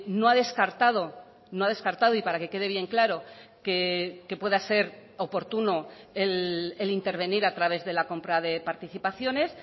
no ha descartado no ha descartado y para que quede bien claro que pueda ser oportuno el intervenir a través de la compra de participaciones